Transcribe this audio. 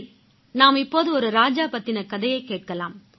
சரி நாம் இப்போது ஒரு ராஜா பத்தின கதையைக் கேட்கலாம்